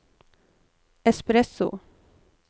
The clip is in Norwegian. espresso